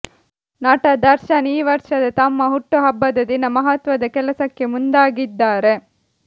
ನಟ ದರ್ಶನ್ ಈ ವರ್ಷದ ತಮ್ಮ ಹುಟ್ಟುಹಬ್ಬದ ದಿನ ಮಹತ್ವದ ಕೆಲಸಕ್ಕೆ ಮುಂದಾಗಿದ್ದಾರೆ